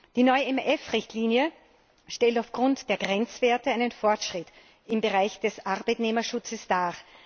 Die neue EMF Richtlinie stellt aufgrund der Grenzwerte einen Fortschritt im Bereich des Arbeitnehmerschutzes dar.